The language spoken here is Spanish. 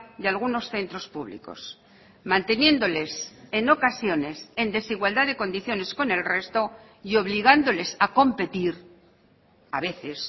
de algunos centros públicos manteniéndoles en ocasiones en desigualdad de condiciones con el resto y obligándoles a competir a veces